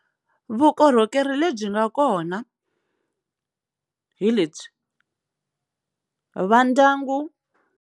Vukorhokeri lebyi nga kona hi lebyi, va ndyangu.